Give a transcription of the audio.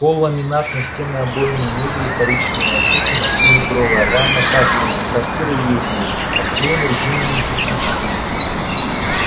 пол ламинатный стены обойные мебель коричневая кухня шестиметровая ванна кафельная сортир уютный обклеен резиновыми кирпичиками